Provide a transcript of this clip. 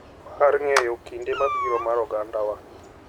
Mar ng’eyo kinde mabiro mar ogandawa.